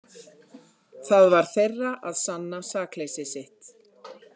Það var þeirra að sanna sakleysi sitt.